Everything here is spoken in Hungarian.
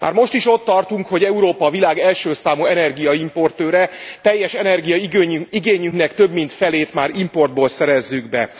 Már most is ott tartunk, hogy Európa a világ első számú energiaimportőre, teljes energiaigényünknek több mint felét már importból szerezzük be.